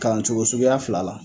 Kalancogo suguya fila la